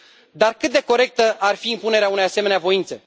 Dar cât de corectă ar fi impunerea unei asemenea voințe?